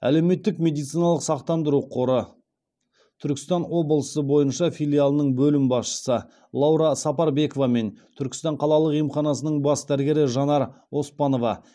әлеуметтік медициналық сақтандыру қоры түркістан облысы бойынша филиалының бөлім басшысы лаура сапарбекова мен түркістан қалалық емханасының бас дәрігері жанар оспанова